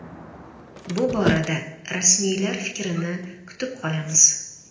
Bu borada rasmiylar fikrini kutib qolamiz.